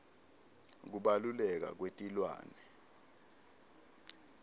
kubaluleka kwetilwane